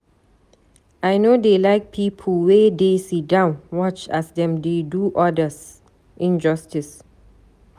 I no dey like pipo wey dey sidon watch as dem dey do others injustice.